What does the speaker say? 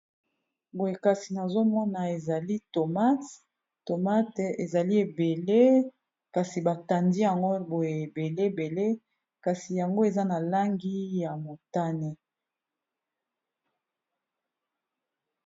Boyekasi nazomona ezali thomas, thomas ezali ebele kasi batandi yango boye ebele ebele kasi yango eza na langi ya motane.